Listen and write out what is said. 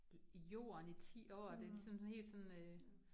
I jorden i 10 år det sådan helt sådan øh